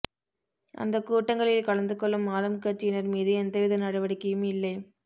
அந்தக் கூட்டங்களில் கலந்து கொள்ளும் ஆளும்கட்சியினர் மீது எந்தவித நடவடிக்கையும் இல்லை